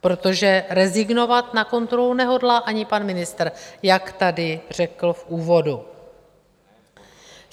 Protože rezignovat na kontrolu nehodlá ani pan ministr, jak tady řekl v úvodu.